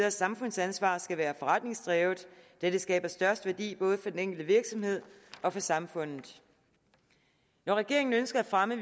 og samfundsansvar skal være forretningsdrevet da det skaber størst værdi både for den enkelte virksomhed og for samfundet når regeringen ønsker at fremme